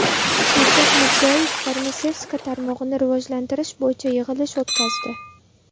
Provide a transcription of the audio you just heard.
Shavkat Mirziyoyev farmatsevtika tarmog‘ini rivojlantirish bo‘yicha yig‘ilish o‘tkazdi.